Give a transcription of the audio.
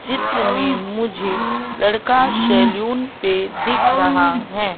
चित्र में मुझे लड़का सैलून पे दिख रहा हैं।